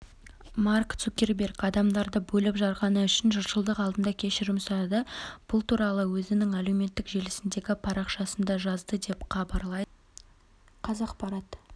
марк цукерберг адамдарды бөліп-жарғаны үшін жұртшылық алдында кешірім сұрады бұл туралы ол өзінің әлеуметтік желісіндегі парақшасында жазды деп хабарлайды қазақпарат